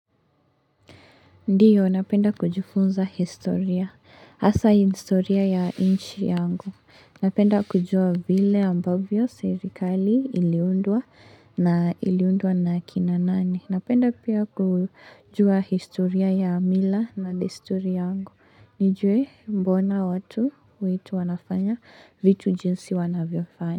Ndio, napenda kujifunza historia, asa historia ya inchi yangu. Napenda kujua vile ambavyo serikali iliundwa na iliundwa na kina nani. Napenda pia kujua historia ya mila na desturi yangu. Nijue mbona watu wetu wanafanya vitu jinsi wanavyofanya.